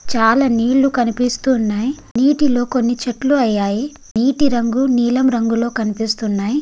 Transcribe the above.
చాలా నీళ్ళు కనిపిస్తున్నాయి నీటిలో కొన్ని చెట్లు అయ్యాయి నీటి రంగు నీలం రంగులో కనిపిస్తున్నాయి.